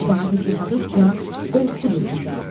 Vaqif yaşadıqca qorxudur bizə.